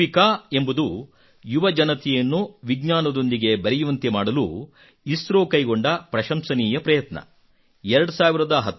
ಯುವಿಕಾ ಎಂಬುದು ಯುವಜನತೆಯನ್ನು ವಿಜ್ಞಾನದೊಂದಿಗೆ ಬೆರೆಯುವಂತೆ ಮಾಡಲು ಇಸ್ರೋ ಕೈಗೊಂಡ ಪ್ರಶಂಸನೀಯ ಪ್ರಯತ್ನವಾಗಿದೆ